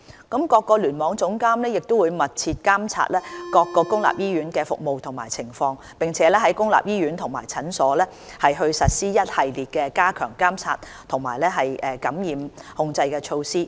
各聯網總監會密切監察各公立醫院的服務情況，並在公立醫院及診所實施一系列加強監察和感染控制的措施。